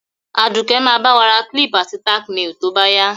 Àdùké ba ba wa ra clip àti tack nails to báyá